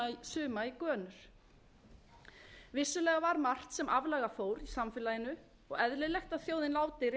suma í gönur vissulega var margt sem aflaga fór í samfélaginu og eðlilegt að þjóðin láti réttmæta